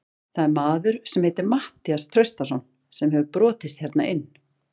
Það er maður sem heitir Matthías Traustason sem hefur brotist hérna inn.